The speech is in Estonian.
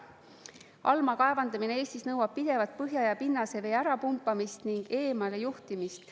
Allmaa kaevandamine Eestis nõuab pidevat põhja- ja pinnasevee ära pumpamist ning eemale juhtimist.